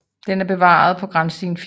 Den er bevaret på Granstien 4